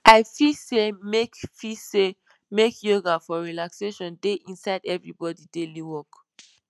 i feel say make feel say make yoga for relaxation dey inside everybody daily work